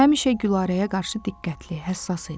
Həmişə Gülarəyə qarşı diqqətli, həssas idi.